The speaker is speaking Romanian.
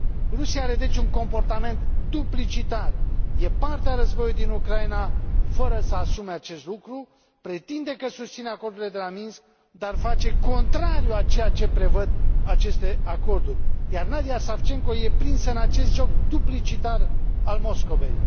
Rusia are, deci, un comportament duplicitar e parte a războiului din Ucraina, fără să asume acest lucru, pretinde că susține acordurile de la Minsk, dar face contrariul a ceea ce prevăd aceste acorduri, iar Nadiya Savchenko e prinsă în acest joc duplicitar al Moscovei.